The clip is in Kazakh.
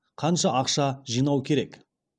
қанша ақша жинау керек